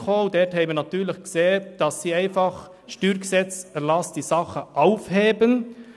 In dieser haben wir gesehen, dass die Regierung mit der Änderung des Erlasses des StG diese Sache aufhebt.